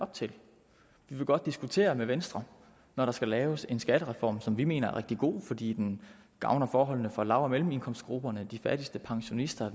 op til vi vil godt diskutere med venstre når der skal laves en skattereform som vi mener er rigtig god fordi den gavner forholdene for lav og mellemindkomstgrupperne og de fattigste pensionister og